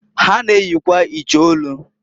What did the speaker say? Ha na-eyikwa iche olu.